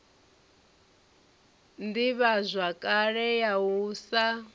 na ḓivhazwakale ya u sa